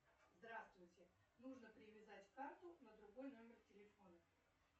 здравствуйте нужно привязать карту на другой номер телефона